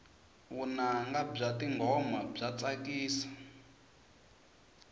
vunanga bya tingoma bya tsakisa